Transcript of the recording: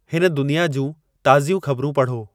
हिन दुनिया जूं ताज़ियूं ख़बरूं पढ़ो